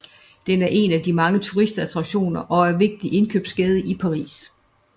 Den er en af de mange turistattraktioner og er en vigtig indkøbsgade i Paris